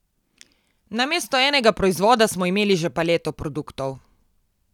Namesto enega proizvoda smo imeli že paleto produktov.